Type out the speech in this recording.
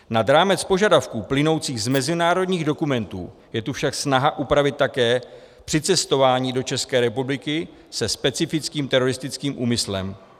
Nad rámec požadavků plynoucích z mezinárodních dokumentů je tu však snaha upravit také přicestování do České republiky se specifickým teroristickým úmyslem.